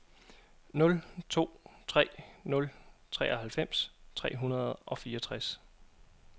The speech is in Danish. nul to tre nul treoghalvfems tre hundrede og fireogtres